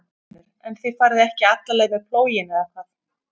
Magnús Hlynur: En þið farið ekki alla leið með plóginn eða hvað?